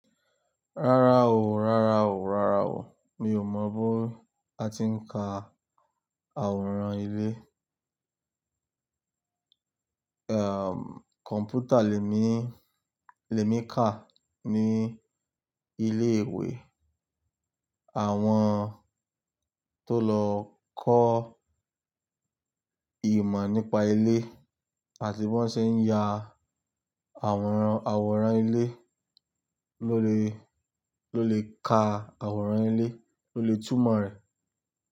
Rárá o, rárá o, rárá o. Mi ò mọ bó a ti ń ka àwòrán ilé. Kọ̀npútà lè mí, lè mí ka ní ilé ìwé. Àwọn tó lọ kọ́ ìmọ̀ nípa ilé àti bí wón ṣe ń ya àwòrán, àwòrán ilé ló lè, ló lè ka àwòrán ilé, ló lè túmọ̀ rẹ̀